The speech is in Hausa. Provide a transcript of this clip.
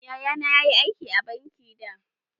Yaya na ya yi aiki a banki da.